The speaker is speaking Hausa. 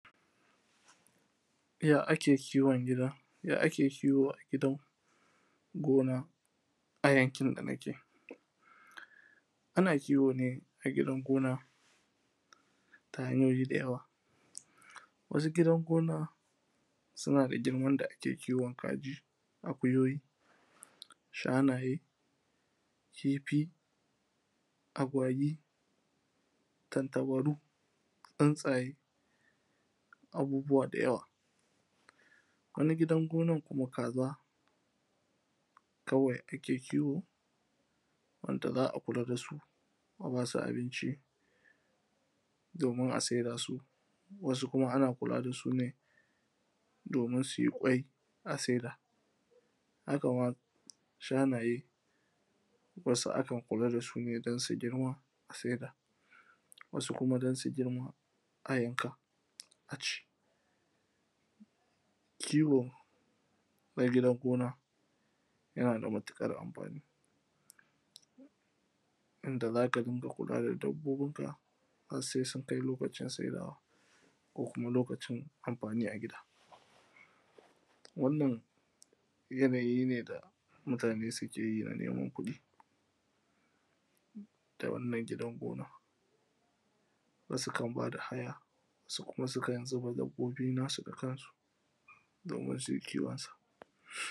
Ya ake kiwon gida? Ya ake kiwo a gidan gona a yankin da nike? Ana kiwo ne a gidan gona ta hanyoyi da yawa wasu gidan gona suna da girman da ake kiwon kaji akuyoyi shanaye kifi, agwagi tantabaru, tsuntsaye abubuwa da yawa. Wani gidan gonan kuma kaza kawai ake kiwo wanda za a kula dasu a basu abinci domin a saida su, wasu kuma ana kula dasu ne domin suyi kwai a saida, hakama shanaye wasu akan kula da su ne don su girma a saida wasu kuma don su girma a yanka a ci. Kiwo na gidan gona yana da matuƙar amfani. Yanda zaka rinƙa kula da dabbobinka har sai sun kai lokacin saidawa ko kuma lokacin amfani a gida. Wannan yana yi ne da mutane sukeyi a neman kuɗin da wannan gidan gona, wasu kan bada haya wasu sukan zuba dabbobi nasu na kansu domin su kiwonsa.